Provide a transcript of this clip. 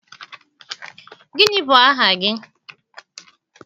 Gịnị bu aha gị?